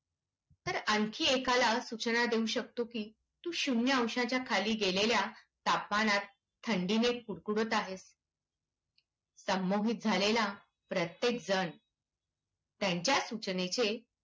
तर आणखी एकाला सूचना देऊ शकतो की तू शून्य अंशाच्याखाली गेलेल्या तापमानात थंडीने कुडकुडत आहेस. संमोहित झालेला प्रत्येक जण त्यांच्या सूचनेचे